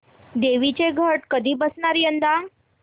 देवींचे घट कधी बसणार यंदा